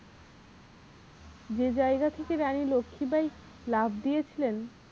যে জায়গা থেকে রানী লক্ষীবাঈ লাফ দিয়েছিলেন